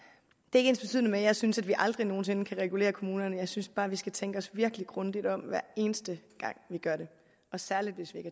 ikke ensbetydende med at jeg synes at vi aldrig nogen sinde kan regulere kommunerne jeg synes bare at vi skal tænke os virkelig grundigt om hver eneste gang vi gør det og særligt hvis vi